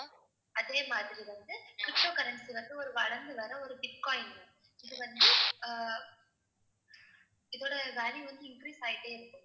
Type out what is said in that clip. அதே மாதிரி வந்து ptocurrency வந்து ஒரு வளர்ந்து வர்ற ஒரு bitcoin ma'am இது வந்து அஹ் இதோட value வந்து increase ஆயிட்டே இருக்கும்.